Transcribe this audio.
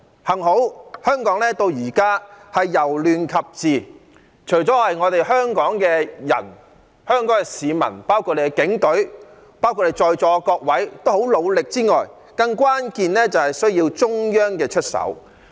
幸好，香港到現在由亂及治，除了有賴香港市民，包括警隊及在座各位的努力之外，更關鍵的是需要中央出手。